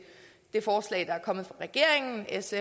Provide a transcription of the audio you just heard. det forslag der er kommet fra regeringen s